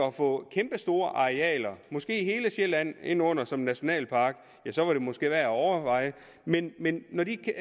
at få kæmpestore arealer måske hele sjælland ind under som nationalpark så var det måske værd at overveje men men når de ikke